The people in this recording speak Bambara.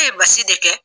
E ye basi de kɛ